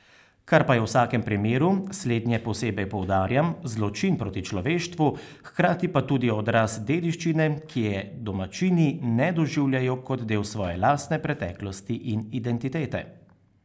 Kar pa je v vsakem primeru, slednje posebej poudarjam, zločin proti človeštvu, hkrati pa tudi odraz dediščine, ki je domačini ne doživljajo kot del svoje lastne preteklosti in identitete.